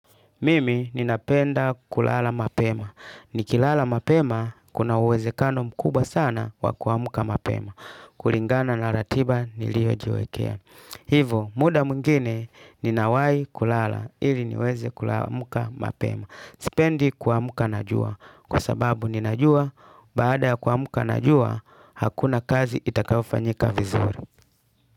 Mimi ninapenda kulala mapema. Ni kilala mapema kuna uweze kano mkubwa sana wa kuamka mapema. Kuringana na ratiba nilio jiwekea. Hivo muda mwingine ninawai kulala ili niweze kulamuka mapema. Sipendi kuamuka najua. Kwa sababu ninajua baada ya kuamka najua hakuna kazi itakayofanyika vizuri.